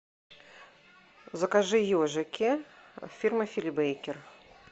закажи ежики фирма фили бейкер